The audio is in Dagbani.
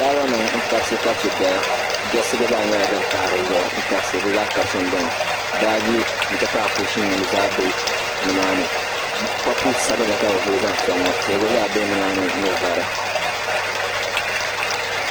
Taabonima n-kabisikabisi dɔya diɣisi ɡba zaa pahi di zuɣu n-kabisi di zaa kabisimi beni baaji nti pahi kuushinnima zaa be nimaani paapu sabila ka bɛ vuli zaŋ sɔŋ ŋɔ tihi ɡba zaa be nimaani ni vari